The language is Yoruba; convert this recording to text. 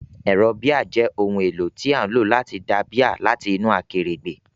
Ẹ̀rọ bíà jẹ́ ohun èlò tí a ń lò láti da bíà láti inú akèrègbè.